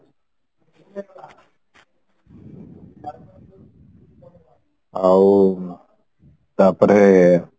ଆଉ ତାପରେ